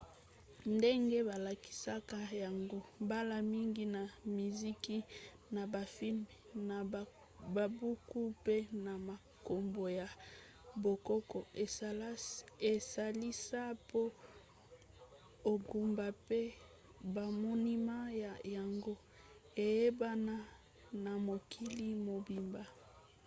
ndenge balakisaka yango mbala mingi na miziki na bafilme na babuku mpe na makambo ya bokoko esalisa mpo engumba mpe bamonima na yango eyebana na mokili mobimba